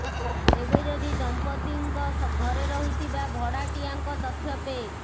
ତେବେ ଯଦି ଦମ୍ପତ୍ତ୍ତିଙ୍କ ଘରେ ରହୁଥିବା ଭଡାଟିଆଙ୍କ ତଥ୍ୟ ପେ